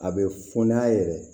A bɛ fɔ n'a yɛrɛ ye